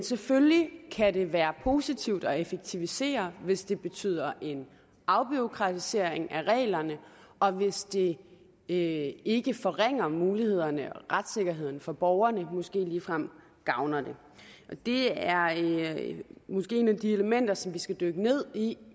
selvfølgelig kan det være positivt at effektivisere hvis det betyder en afbureaukratisering af reglerne og hvis det ikke ikke forringer mulighederne eller retssikkerheden for borgerne men måske ligefrem gavner den det er måske et af de elementer som vi skal dykke ned i